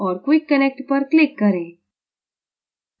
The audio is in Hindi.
और quick connect पर click करें